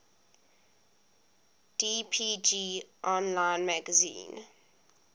dpg online magazine